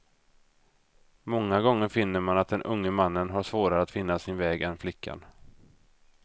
Många gånger finner man att den unge mannen har svårare att finna sin väg än flickan.